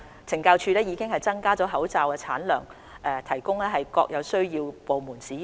懲教署亦已增加口罩產量供各有需要的部門使用。